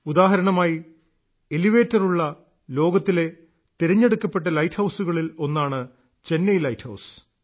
ഉദാഹരണമായി എലിവേറ്റർ ഉള്ള ലോകത്തിലെ തിരഞ്ഞെടുക്കപ്പെട്ട ലൈറ്റ് ഹൌസുകളിൽ ഒന്നാണ് ചെന്നൈ ലൈറ്റ് ഹൌസ്